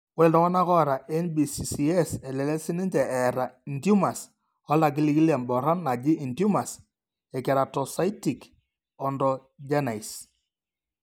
Ore iltung'anak oata NBCCS elelek siininche eeta intumors oltagiligil emboron naji intumors ekeratocystic odontogenice.